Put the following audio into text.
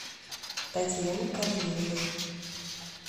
татьяне корнеевой